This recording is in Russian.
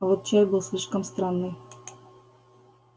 а вот чай был слишком странный